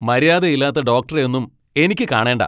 മര്യാദയില്ലാത്ത ഡോക്ടറെയൊന്നും എനിക്ക് കാണേണ്ട.